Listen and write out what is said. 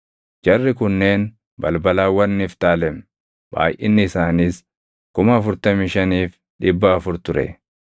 Jarri kunneen balbalawwan Niftaalem; baayʼinni isaaniis 45,400 ture.